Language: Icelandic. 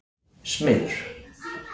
Smiður